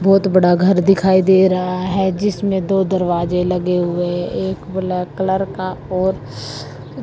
बहोत बड़ा घर दिखाई दे रहा है जिसमें दो दरवाजे लगे हुए एक ब्लैक कलर का और--